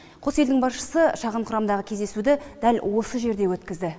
қос елдің басшысы шағын құрамдағы кездесуді дәл осы жерде өткізді